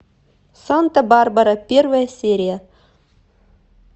санта барбара первая серия